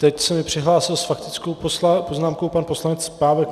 Teď se mi přihlásil s faktickou poznámkou pan poslanec Pávek.